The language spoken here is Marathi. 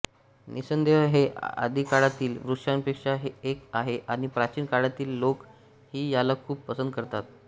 निस्संदेह हे आदिकाळातील वृक्षांपैकी एक आहे आणि प्राचीन काळातील लोकं ही याला खूप पसंद करतात